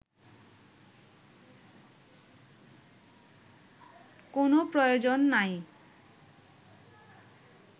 কোন প্রয়োজন নাই